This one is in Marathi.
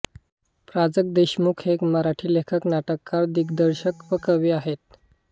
प्राजक्त देशमुख हे एक मराठी लेखक नाटककार दिग्दर्शक व कवी आहेत